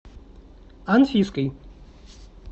анфиской